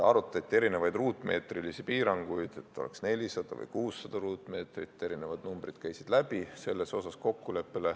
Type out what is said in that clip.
Arutati erinevaid ruutmeetrilisi piiranguid, et oleks 400 või 600 ruutmeetrit, erinevad numbrid käisid läbi.